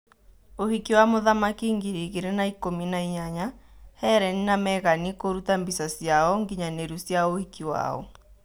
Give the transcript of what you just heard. ũhiki wa muthamaki ngiri igĩrĩ na ikũmi-na-inyanya: Hereni na Megani kũruta mbica ciao nginyanĩru cia ũhiki wao.